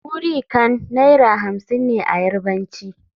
muri Kan Naira hamsin ne a Yarbanci.